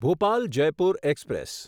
Bhopal Jaipur express